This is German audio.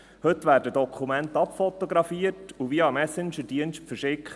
Heute werden Dokumente abfotografiert und via Messengerdienst verschickt.